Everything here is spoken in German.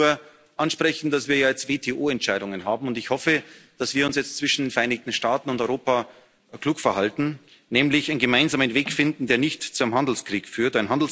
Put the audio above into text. Ich möchte da nur ansprechen, dass wir ja jetzt WTO Entscheidungen haben, und ich hoffe, dass wir uns jetzt zwischen den Vereinigten Staaten und Europa klug verhalten, nämlich einen gemeinsamen Weg finden, der nicht zu einem Handelskrieg führt.